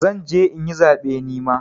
Zan je in yi zaɓe nima.